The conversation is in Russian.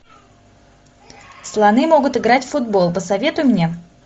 слоны могут играть в футбол посоветуй мне